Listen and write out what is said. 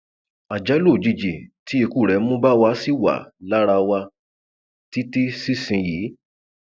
àjálù òjijì tí ikú rẹ mú bá wa ṣì wà lára wa títí ṣísìnyìí